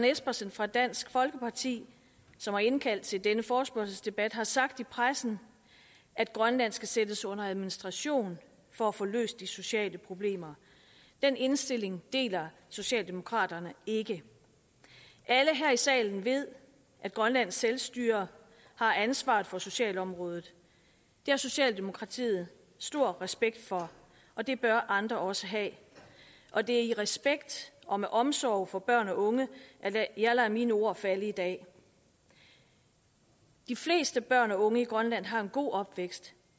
espersen fra dansk folkeparti som har indkaldt til denne forespørgselsdebat har sagt i pressen at grønland skal sættes under administration for at få løst de sociale problemer den indstilling deler socialdemokraterne ikke alle her i salen ved at grønlands selvstyre har ansvaret for socialområdet det har socialdemokratiet stor respekt for og det bør andre også have og det er i respekt og med omsorg for børn og unge at jeg lader mine ord falde i dag de fleste børn og unge i grønland har en god opvækst